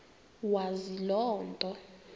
wazi loo nto